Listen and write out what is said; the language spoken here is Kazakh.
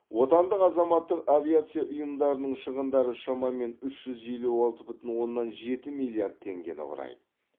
отандық азаматтық авиация ұйымдарының шығындары шамамен үш жүз елу алты бүтін оннан жеті миллиард теңгені құрайды